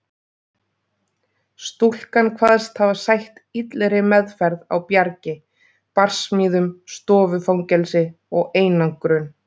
Stúlkan kvaðst hafa sætt illri meðferð á Bjargi, barsmíðum, stofufangelsi og einangrun.